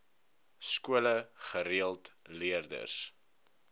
skole gereeld leerders